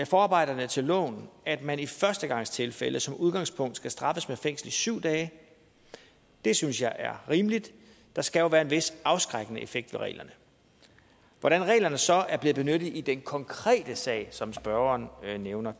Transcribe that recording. forarbejderne til loven at man i førstegangstilfælde som udgangspunkt skal straffes med fængsel i syv dage det synes jeg er rimeligt der skal jo være en vis afskrækkende effekt ved reglerne hvordan reglerne så er blevet benyttet i den konkrete sag som spørgeren nævner